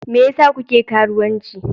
Me yasa kuke karuwanci?